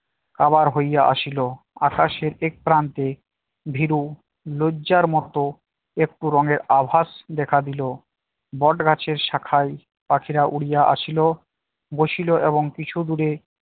কাবার হইয়া আসিল আকাশের এক প্রান্তে ভীরু লজ্জার মত একটু রংয়ের আভাস দেখা দিল বটগাছের শাখায় পাখিরা উড়িয়া আসিল বসিল এবং কিছু দূরে